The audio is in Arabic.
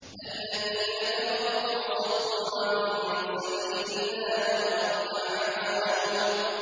الَّذِينَ كَفَرُوا وَصَدُّوا عَن سَبِيلِ اللَّهِ أَضَلَّ أَعْمَالَهُمْ